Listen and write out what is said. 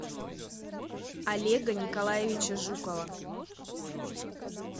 олега николаевича жукова